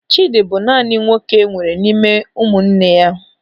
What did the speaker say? Chidi bụ naanị nwoke enwere n'ime ụmụnne ya.